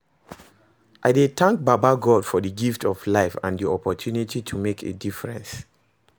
I dey thank baba God for di gift of life and di opportunity to make a difference.